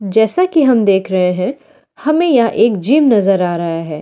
जैसा कि हम देख रहे हैं हमें यह एक जिम नजर आ रहा है।